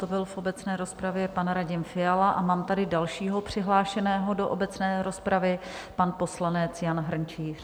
To byl v obecné rozpravě pan Radim Fiala a mám tady dalšího přihlášeného do obecné rozpravy - pan poslanec Jan Hrnčíř.